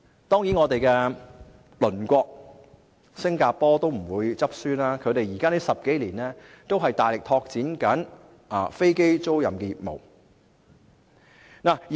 當然，我們的鄰國新加坡也不落後，他們10多年來都大力拓展飛機租賃業務。